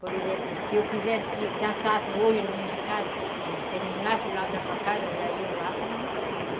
Por exemplo, se eu quisesse que dançassem hoje na minha casa, quando terminasse lá da sua casa, já iam lá para minha casa.